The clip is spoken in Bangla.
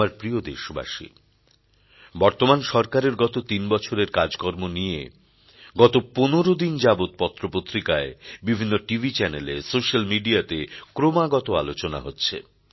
আমার প্রিয় দেশবাসী বর্তমান সরকারের গত তিন বছরের কাজ কর্ম নিয়ে গত ১৫ দিন যাবৎ পত্র পত্রিকায় বিভিন্ন টিভি চ্যানেলে সোশ্যাল মিডিয়াতে ক্রমাগত আলোচনা হচ্ছে